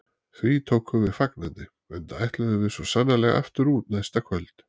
Því tókum við fagnandi, enda ætluðum við svo sannarlega aftur út næsta kvöld.